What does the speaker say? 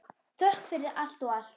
Þökk fyrir allt og allt.